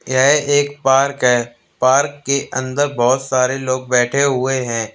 यह एक पार्क है पार्क के अंदर बहुत सारे लोग बैठे हुए हैं।